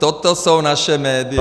Toto jsou naše média.